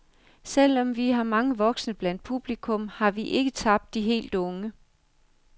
Selv om vi har mange voksne blandt publikum, har vi ikke tabt de helt unge.